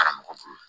Karamɔgɔ bolo